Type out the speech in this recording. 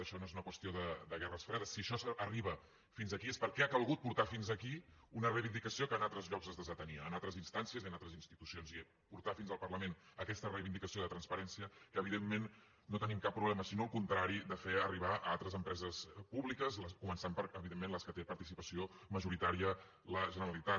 això no és una qüestió de guerres fredes si això arriba fins aquí és perquè ha calgut portar fins aquí una reivindicació que en altres llocs es desatenia en altres instàncies i en altres institucions i portar fins al parlament aquesta reivindicació de transparència que evidentment no tenim cap problema sinó al contrari de fer arribar a altres empreses públiques començant per evidentment en les que té participació majoritària la generalitat